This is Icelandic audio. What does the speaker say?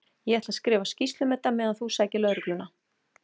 Ég ætla að skrifa skýrslu um þetta á meðan þú sækir lögregluna.